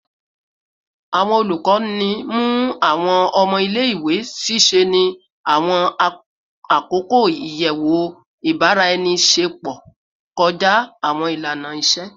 Awọn olukọni mu awọn ọmọ ile-iwe ṣiṣẹ ni awọn akoko iyẹwu ibaraenisepo kọja awọn ilana-iṣe